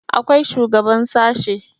akwai shugaban sashe